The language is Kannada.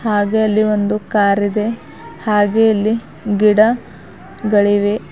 ಹಾಗೆ ಅಲ್ಲಿ ಒಂದು ಕಾರ್ ಇದೆ ಹಾಗೆ ಇಲ್ಲಿ ಗಿಡ ಗಳಿವೆ.